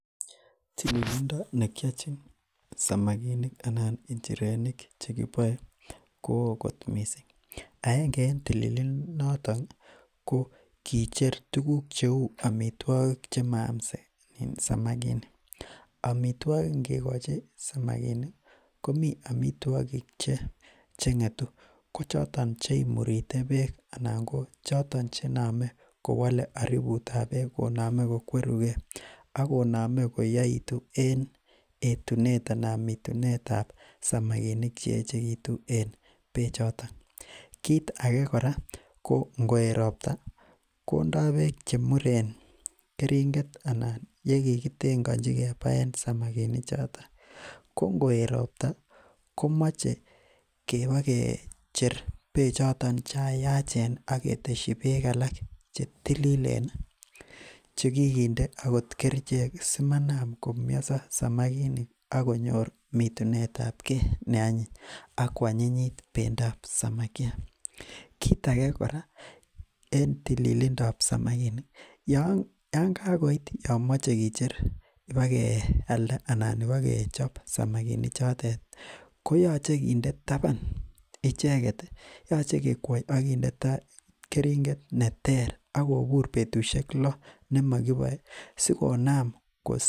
Tililindo nekiachin samakinik anan injirenik koo kot missing. aenge en tililindo en tililindo ko kicher tukuk cheuu amituakik chemaam samakinik amituakik ingikochi samakinik ih ,ko mi amituakik Cheng'tu ko choton cheimurite beek .choto chename kowale aributab beek koname kokueruke beek akonamei koweche mitunetab ke nebo samakinik.en bechuton, kit age ingoet robta kinda bek chemuren keringet anan yekikitengachi bek ko ingoet robta koyache kibokicher bechoton cheyachen akindne bek alak chetilile kiginde kerichek kobur komie samakinik akonyor mitunetake akoanyinyit bendab samakiat. En tilindob samakinik Yoon ko koit kibokicher kialda anan ibokechib samakinik chotet ihkoyache kinde taban, yache kekwai akindne taban keringet neter akobur betusiek lo nemokiboe sikonam kostage arubut.